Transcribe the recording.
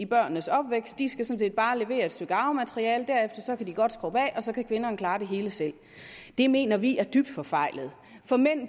børnenes opvækst de skal sådan set bare levere et stykke arvemateriale derefter kan de godt skrubbe af og så kan kvinderne klare det hele selv det mener vi er dybt forfejlet for mænd